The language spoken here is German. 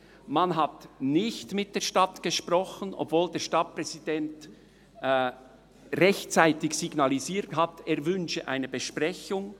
Man hat nicht mit der Stadt gesprochen, obwohl der Stadtpräsident rechtzeitig signalisiert hat, er wünsche eine Besprechung.